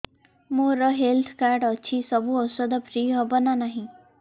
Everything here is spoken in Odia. ମୋର ହେଲ୍ଥ କାର୍ଡ ଅଛି ସବୁ ଔଷଧ ଫ୍ରି ହବ ନା ନାହିଁ